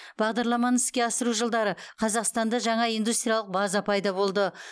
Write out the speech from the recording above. бағдарламаны іске асыру жылдары қазақстанда жаңа индустриялық база пайда болды